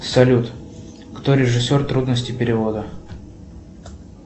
салют кто режиссер трудности перевода